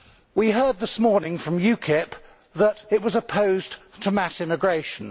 We heard this morning from UKIP that it was opposed to mass immigration.